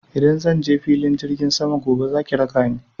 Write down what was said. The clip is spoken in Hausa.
Idan zan je filin jirgin sama gobe za ki raka ni.